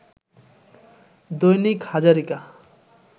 Dainik Hazarika